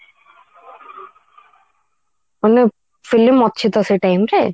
ମାନେ film ଅଛି ତ ସେଇ time ରେ